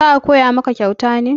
za a Koya maka kyauta ne